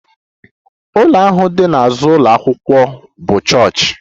Ụlọ ahụ dị n'azụ ụlọ akwụkwọ m bụ chọọchị